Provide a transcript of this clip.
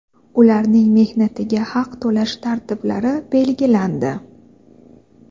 ularning mehnatiga haq to‘lash tartiblari belgilandi.